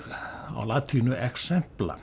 á latínu